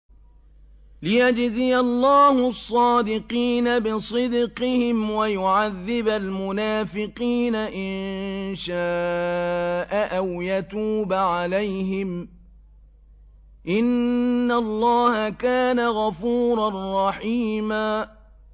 لِّيَجْزِيَ اللَّهُ الصَّادِقِينَ بِصِدْقِهِمْ وَيُعَذِّبَ الْمُنَافِقِينَ إِن شَاءَ أَوْ يَتُوبَ عَلَيْهِمْ ۚ إِنَّ اللَّهَ كَانَ غَفُورًا رَّحِيمًا